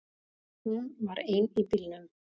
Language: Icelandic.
Hún var ein í bílnum.